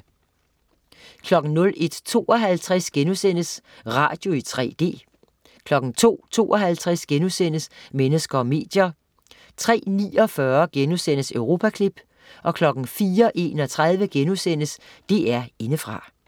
01.52 Radio i 3D* 02.52 Mennesker og medier* 03.49 Europaklip* 04.31 DR Indefra*